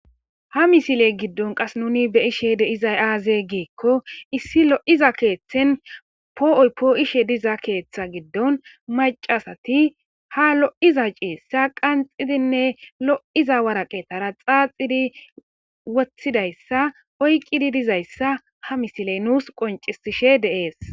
Ha misile gidon qase nu beyishe dizay aze gikon issi lo'iza kethen po'oy po'ishe diza ketha gidon macasat ha lo'iza ciisha qanxidinne lo'za waraqetara wothidaysa oykid dizaysa ha misiley nus qoncises.